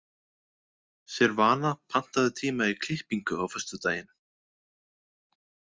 Silvana, pantaðu tíma í klippingu á föstudaginn.